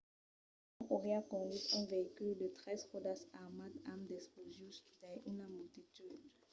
l'òme auriá conduch un veïcul de tres ròdas armat amb d'explosius dins una multitud